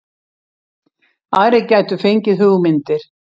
Aðrir gætu fengið hugmyndir